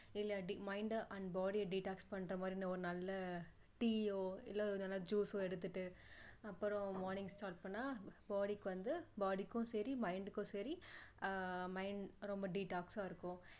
இல்லாட்டி mind ட and body detox பண்ற மாதிரி ஒரு நல்ல டீயோ இல்ல எதுன்னா ஒரு juice சோ எடுத்துட்டு அப்பறம் morning start பண்ணா body க்கு வந்து body க்கும் சரி mind க்கும் சரி ஆஹ் மை~ரொம்ப detox சா இருக்கும்